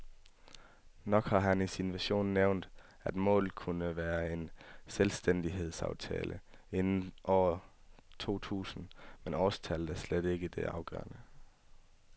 Nok har han i sin vision nævnt, at målet kunne være en selvstændighedsaftale inden år to tusind, men årstallet er slet ikke det afgørende.